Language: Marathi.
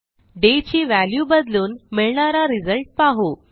डे ची व्हॅल्यू बदलून मिळणारा रिझल्ट पाहू